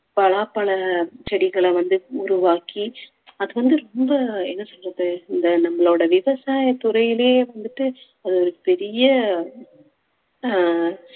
பலாப்பழ செடிகளை வந்து உருவாக்கி அது வந்து ரொம்ப என்ன சொல்றது இந்த நம்மளோட விவசாயத்துறையிலேயே வந்துட்டு ஒரு பெரிய அஹ்